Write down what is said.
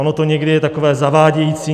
Ono to někdy je takové zavádějící.